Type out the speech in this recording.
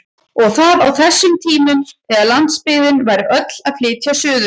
Og það á þessum tímum þegar landsbyggðin væri öll að flytja suður!